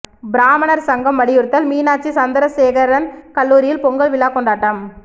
பிராமணர் சங்கம் வலியுறுத்தல் மீனாட்சி சந்திரசேகரன் கல்லூரியில் பொங்கல் விழா கொண்டாட்டம்